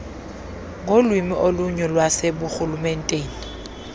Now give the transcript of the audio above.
ngolwimi olunye lwaseburhulumenteni